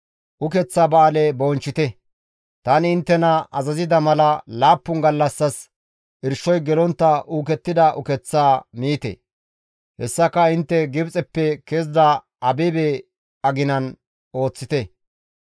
«Ukeththa Ba7aale bonchchite; tani inttena azazida mala laappun gallassas irshoy gelontta uukettida uketh miite; hessaka intte Gibxeppe kezida Abibe aginan ooththite.